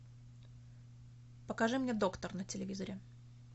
покажи мне доктор на телевизоре